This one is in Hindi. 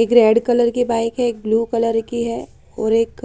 एक रेड कलर की बाइक है एक ब्लू कलर की है और एक